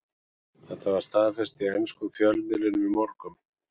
Þetta var staðfest í enskum fjölmiðlum í morgun.